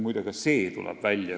Muide, ka see tuleb siin välja.